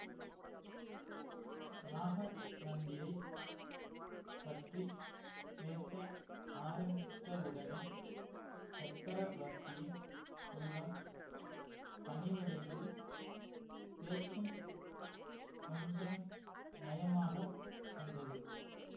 நாகநந்தியைப் பற்றி பேச ஆரம்பித்தவுடனே சக்கரவர்த்தியின் உள்ளம் கனிவடைந்து பேச்சும் கொஞ்சம் நயமாக வந்தது